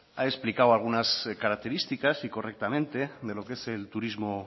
ha explicado algunas características y correctamente de lo que es el turismo